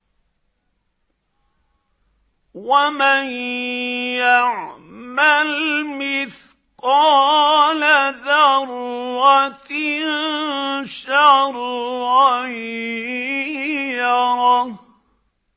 وَمَن يَعْمَلْ مِثْقَالَ ذَرَّةٍ شَرًّا يَرَهُ